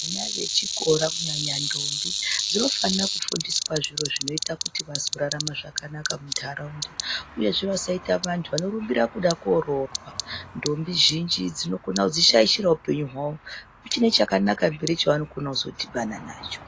Vana vechikora kunyanya ndombi dzinofana kufundiswa zviro zvakanaka zvinoita vazorarama zvakanaka mundaraunda uyezve vasaita vantu vanorumbira kondororwa ngekuti ndombi zhinji dzinokona kuzvishaira upenyu hwavo kuchiri nechakanaka chavanokona kudhibana nacho.